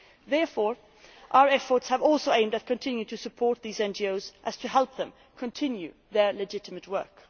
Therefore, our efforts have also aimed at continuing to support these NGOs so as to help them continue their legitimate work.